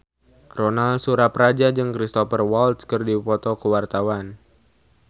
Ronal Surapradja jeung Cristhoper Waltz keur dipoto ku wartawan